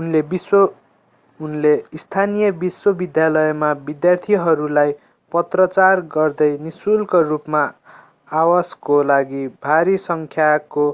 उनले स्थानीय विश्वविद्यालयमा विद्यार्थीहरूलाई पत्राचार गर्दै निःशुल्क रूपमा आवासको लागि भारी सङ्ख्याको